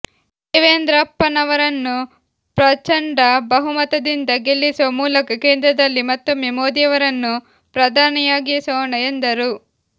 ದೇವೇಂದ್ರಪ್ಪನವರನ್ನು ಪ್ರಚಂಡ ಬಹುಮತದಿಂದ ಗೆಲ್ಲಿಸುವ ಮೂಲಕ ಕೇಂದ್ರದಲ್ಲಿ ಮತ್ತೊಮ್ಮೆ ಮೋದಿಯವರನ್ನು ಪ್ರಧಾನಿಯಾಗಿಸೋಣ ಎಂದರು